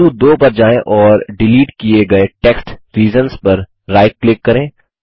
बिंदु 2 पर जाएँ और डिलीट किये गये टेक्स्ट रीजन्स पर राइट क्लिक करें